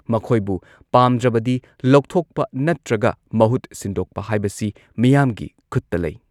ꯃꯈꯣꯏꯕꯨ ꯄꯥꯝꯗ꯭ꯔꯕꯗꯤ ꯂꯧꯊꯣꯛꯄ ꯅꯠꯇ꯭ꯔꯒ ꯃꯍꯨꯠ ꯁꯤꯟꯗꯣꯛꯄ ꯍꯥꯏꯕꯁꯤ ꯃꯤꯌꯥꯝꯒꯤ ꯈꯨꯠꯇ ꯂꯩ ꯫